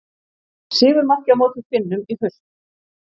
Sigurmarkið á móti Finnum í haust.